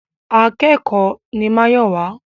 Akẹ́kòó ni Máyọ̀wá.